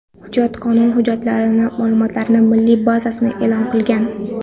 Hujjat qonun hujjatlari ma’lumotlari milliy bazasida e’lon qilingan.